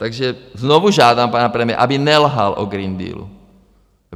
Takže znovu žádám pana premiéra, aby nelhal o Green Dealu.